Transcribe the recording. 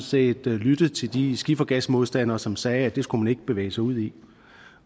set lyttet til de skifergasmodstandere som sagde at det skulle man ikke bevæge sig ud i